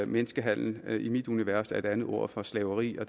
menneskehandel er i mit univers et andet ord for slaveri og